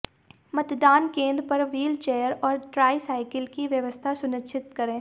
मतदान केन्द्र पर व्हील चैयर और ट्राई साइकल की व्यवस्था सुनिश्चित करेें